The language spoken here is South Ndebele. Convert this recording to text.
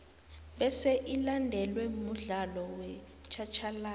bese ilandelwe mudlalo wetjhatjhalazi